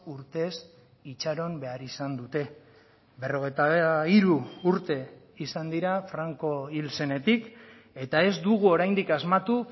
urtez itxaron behar izan dute berrogeita hiru urte izan dira franco hil zenetik eta ez dugu oraindik asmatu